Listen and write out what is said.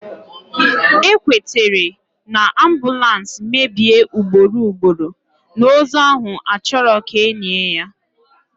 Ekwetere na, ambulance mebie ugboro ugboro, na ozu ahụ achọrọ ka enie ya